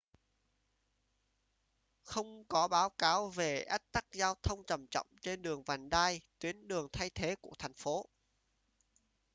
không có báo cáo về ách tắc giao thông trầm trọng trên đường vành đai tuyến đường thay thế của thành phố